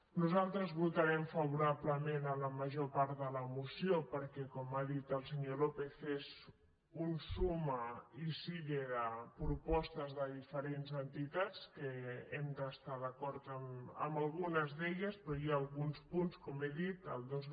nosaltres votarem favorablement la major part de la moció perquè com ha dit el senyor lópez és un suma y sigue de propostes de diferents entitats que hem d’estar d’acord amb algunes d’elles però hi ha alguns punts com he dit el dos